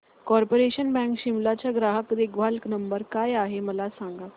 corporation bank Shimla चा ग्राहक देखभाल नंबर काय आहे मला सांग